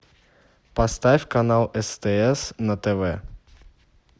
поставь канал стс на тв